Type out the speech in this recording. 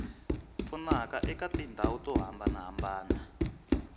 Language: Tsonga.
pfunaka eka tindhawu to hambanahambana